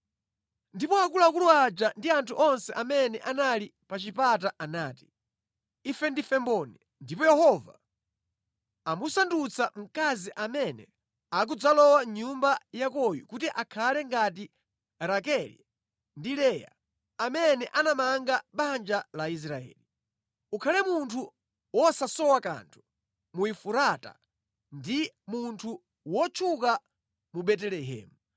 Ndipo akuluakulu aja ndi anthu onse amene anali pa chipata anati, “Ife ndife mboni, ndipo Yehova amusandutsa mkazi amene akudzalowa mʼnyumba yakoyu kuti akhale ngati Rakele ndi Leya, amene anamanga banja la Israeli. Ukhale munthu wosasowa kanthu mu Efurata ndi munthu wotchuka mu Betelehemu.